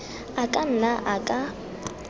a ka nna a ka